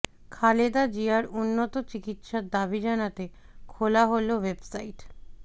খালেদা জিয়ার উন্নত চিকিৎসার দাবি জানাতে খোলা হলো ওয়েবসাইট